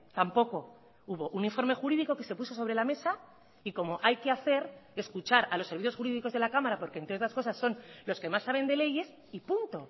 tampoco hubo un informe jurídico que se puso sobre la mesa y como hay que hacer escuchar a los servicios jurídicos de la cámara porque entre otras cosas son los que más saben de leyes y punto